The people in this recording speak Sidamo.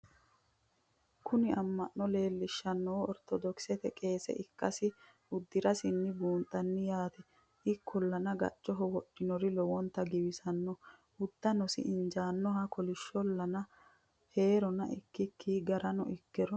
kuni amma'no leellishannoho ortodokisete qeese ikkasi udirasinni buunxanni yaate ikkollana gaccoho wodhinori lowonta giwisanno uduunnisi injaannoho kolishshollana heerona ikiki garano ikkiro